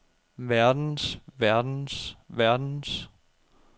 verdens verdens verdens